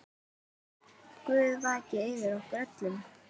Guð vaki yfir ykkur öllum.